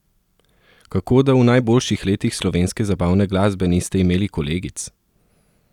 Kako da v najboljših letih slovenske zabavne glasbe niste imeli kolegic?